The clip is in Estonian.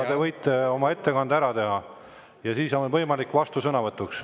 Te võite oma ettekande ära teha ja siis on võimalus vastusõnavõtuks.